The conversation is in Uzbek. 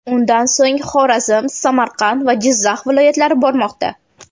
Undan so‘ng Xorazm, Samarqand va Jizzax viloyatlari bormoqda.